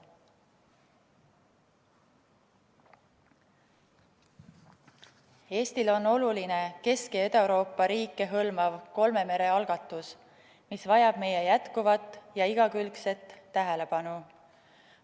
Eestile on oluline Kesk- ja Ida-Euroopa riike hõlmav kolme mere algatus, mis vajab meie jätkuvat ja igakülgset tähelepanu.